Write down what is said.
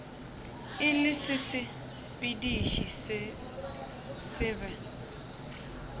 e le sesepediši se sebe